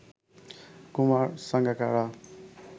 Kumar Sangakkara